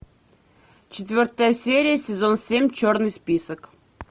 четвертая серия сезон семь черный список